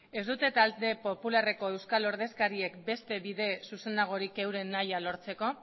ez dute talde popularreko euskal ordezkariek beste bide zuzenagorik euren nahia lortzeko